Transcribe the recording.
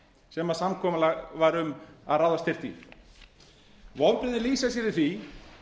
sem samkomulag var um að ráðast þyrfti í vonbrigðin lýsa sér í því